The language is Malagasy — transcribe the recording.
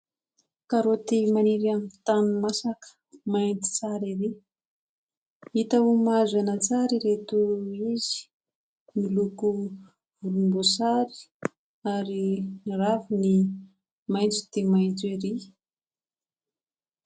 Karaoty maniry amin'ny tany masaka, mainty tsara ery. Hita ho mahazo aina tsara ireto izy, miloko volomboasary ary ny raviny maitso dia maitso ery.